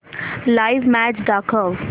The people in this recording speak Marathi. लाइव्ह मॅच दाखव